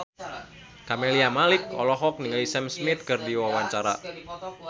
Camelia Malik olohok ningali Sam Smith keur diwawancara